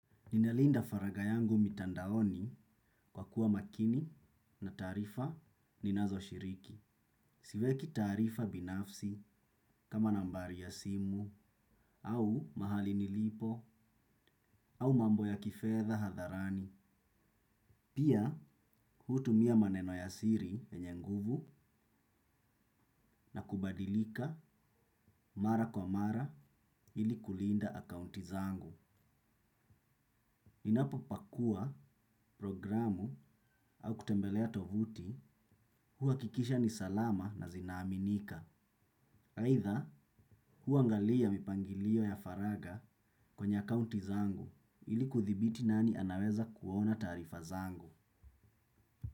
Ninalinda faragha yangu mitandaoni kwa kuwa makini na taarifa ninazo shiriki. Siweki taarifa binafsi kama nambari ya simu au mahali nilipo au mambo ya kifedha hadharani. Pia hutumia maneno ya siri yenye nguvu na kubadilika mara kwa mara ili kulinda account zangu ninapo pakua, programu au kutembelea tovuti huwakikisha ni salama na zina aminika. Aidha huangalia mipangilio ya faragha kwenye accounti zangu ili kudhibiti nani anaweza kuona taarifa zangu.